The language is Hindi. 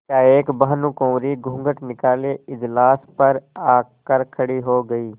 एकाएक भानुकुँवरि घूँघट निकाले इजलास पर आ कर खड़ी हो गयी